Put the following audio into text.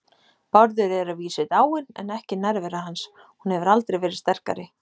Bárður er að vísu dáinn en ekki nærvera hans, hún hefur aldrei verið sterkari.